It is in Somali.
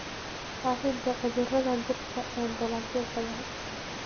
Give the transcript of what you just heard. Faafidda cudurrada dhirta ee dalagyo badan.